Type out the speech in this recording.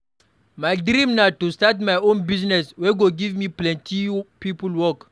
My dream na to start my own business wey go give plenty people work.